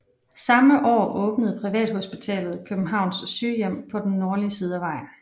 Samme år åbnede privathospitalet Københavns Sygehjem på den nordlige side af vejen